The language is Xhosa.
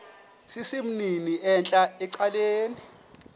sesimnini entla ecaleni